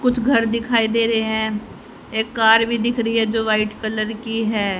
कुछ घर दिखाई दे रहे हैं एक कार भी दिख री है जो व्हाईट कलर की हैं।